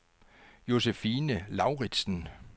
Josefine Lauritsen